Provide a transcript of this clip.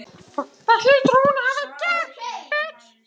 Það hlýtur hún að hafa gert.